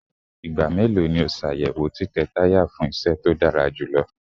Igba melo ni o ṣayẹwo titẹ taya fun iṣẹ to dara julọ?